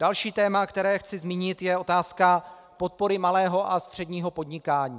Další téma, které chci zmínit, je otázka podpory malého a středního podnikání.